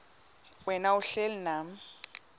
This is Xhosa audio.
wena uhlel unam